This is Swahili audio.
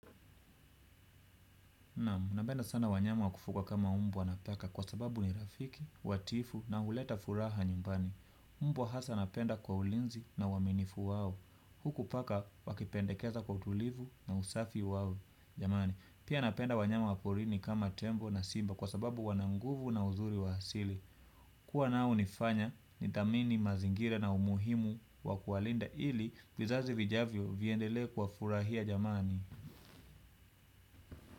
Naam, napenda sana wanyama wakufuga kama mbwa na paka kwa sababu ni rafiki, watiifu na huleta furaha nyumbani. Mbwa hasa napenda kwa ulinzi na uaminifu wao. Huku paka wakipendekeza kwa utulivu na usafi wao. Jamani, pia napenda wanyama waporini kama tembo na simba kwa sababu wana nguvu na uzuri wa asili. Kuwa nao hufanya, nidhamini mazingira na umuhimu wakuwalinda ili vizazi vijavyo viendele kuwa furahia jamani.